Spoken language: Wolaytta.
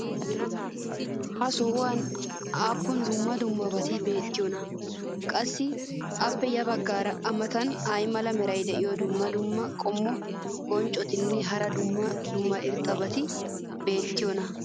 ha sohuwan aappun dumma dummabati beetiyoonaa? qassi appe ya bagaara a matan ay mala meray diyo dumma dumma qommo bonccotinne hara dumma dumma irxxabati beetiyoonaa?